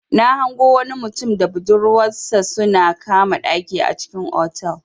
Na hango wani mutum da budurwansa sun kama ɗaki a cikin otal.